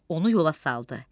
Onu yola saldı.